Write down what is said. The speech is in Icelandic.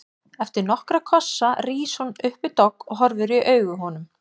Eftir nokkra kossa rís hún upp við dogg og horfir í augu honum.